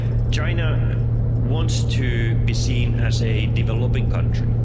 China wants to be seen as a developing country.